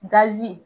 Gazi